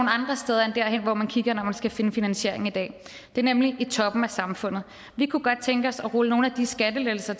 jeg kan hvor man kigger efter finansiering i dag det er nemlig i toppen af samfundet vi kunne godt tænke os at rulle nogle af de skattelettelser